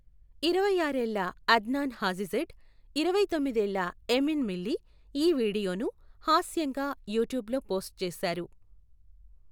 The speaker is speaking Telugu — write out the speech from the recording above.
ఇరవైఆరు ఏళ్ల అద్నాన్ హాజిజెడ్, ఇరవైతొమ్మిది ఏళ్ల ఎమిన్ మిల్లీ, ఈ వీడియోను హాస్యంగా యూట్యూబ్లో పోస్ట్ చేశారు.